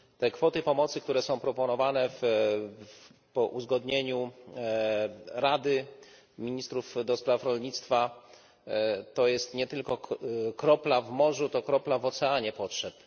Kwoty pomocy, które są proponowane po uzgodnieniu z Radą Ministrów do Spraw Rolnictwa, to jest nie tylko kropla w morzu to kropla w oceanie potrzeb.